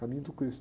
Caminho do cristo.